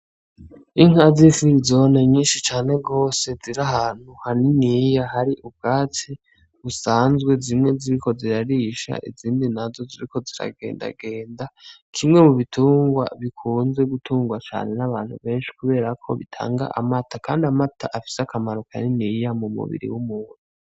Inka z'ifrizone nyinshi cane gose ziri ahantu haniniya hari ubwatsi busanzwe zimwe ziriko zirarisha izindi nazo ziriko ziragendagenda, kimwe mu bitungwa bikunzwe gutungwa cane n'abantu benshi, kuberako bitanga amata, kandi amata afise akamaro kaniniya mumubiri w'umuntu.